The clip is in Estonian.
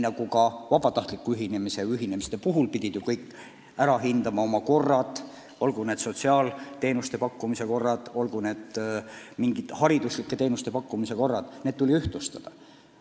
Ka vabatahtliku ühinemise puhul pidid kõik oma korrad – nt sotsiaalteenuste pakkumise korrad ning hariduslike teenuste pakkumise korrad – ühtlustama.